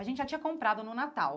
A gente já tinha comprado no Natal.